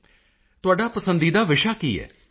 ਮੋਦੀ ਜੀ ਤੁਹਾਡਾ ਪਸੰਦੀਦਾ ਵਿਸ਼ਾ ਕੀ ਹੈ